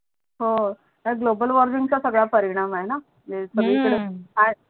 हो हाय Global Warming चा सगडा परिणाम आहे णा म्हणजे हम्म सगडी कडे आहे